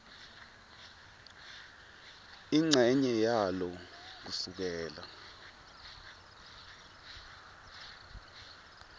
incenye yalo kusukela